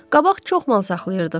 Qabaq çox mal saxlayırdıq.